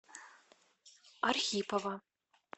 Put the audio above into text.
архипова